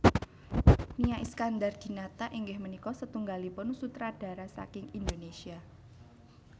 Nia Iskandar Dinata inggih punika satunggalipun sutradara saking Indonesia